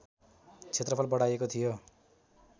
क्षेत्रफल बढाइएको थियो